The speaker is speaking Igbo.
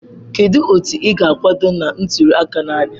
Kedu otu ị ga-akwado na ntuli aka na-abịa?